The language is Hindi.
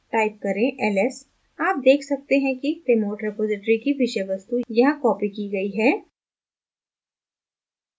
type करें ls आप देख सकते हैं कि remote repository की विषय वस्तु यहाँ copied की गयी है